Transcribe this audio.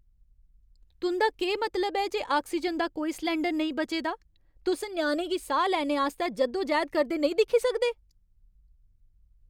तुं'दा केह् मतलब ऐ जे आक्सीजन दा कोई सलैंडर नेईं बचे दा ? तुस ञ्याणे गी साह् लैने आस्तै जद्दोजहद करदे नेईं दिक्खी सकदे ?